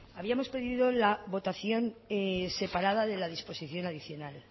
habíamos pedido la votación separada de la disposición adicional